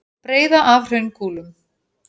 Breiða af hraunkúlum.